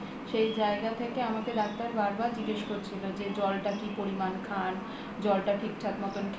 সেই জায়গা থেকে আমাকে ডাক্তার বারবার জিজ্ঞাসা করছিল যে জলটা কি পরিমান খানজলটা ঠিকঠাক মতো